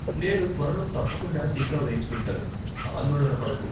నేను త్వరలో తప్పకుండా టీకా వేయించుకుంటాను, ఆందోళన పడకు.